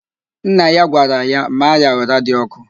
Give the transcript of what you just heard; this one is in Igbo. Nna ya gwara ya, maa ya ụra dị ọkụ!